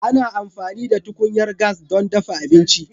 Ana amfani da tukunyar gas don dafa abinci.